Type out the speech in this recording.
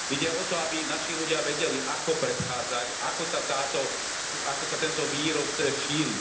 Ide o to, aby naši ľudia vedeli ako predchádzať, ako sa táto, ako sa tento vírus šíri.